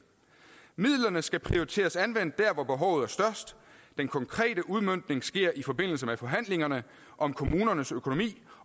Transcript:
midlerne skal prioriteres anvendt der hvor behovet er størst den konkrete udmøntning sker i forbindelse med forhandlingerne om kommunernes økonomi